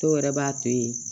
Dɔw yɛrɛ b'a to yen